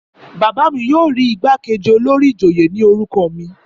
Bàbá mi yóò rí igbákejì olórí ìjòyè ní orúkọ mi.